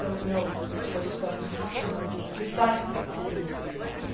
So I do not know what is going to happen precisely, or who will be there.